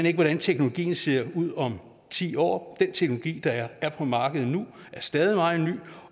ikke hvordan teknologien ser ud om ti år den teknologi der er på markedet nu er stadig meget ny